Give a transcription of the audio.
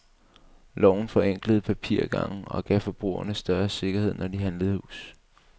Loven forenklede papirgangen og gav forbrugerne større sikkerhed, når de handlede hus.